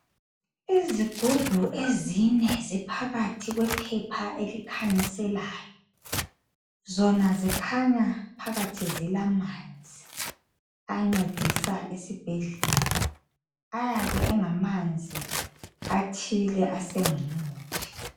Izigubhu ezine ziphakathi kwephepha elikhanyiselayo , zona zikhanya phakathi zilamanzi ancedisa esibhedlela , ayabe engamanzi athile asengumuthi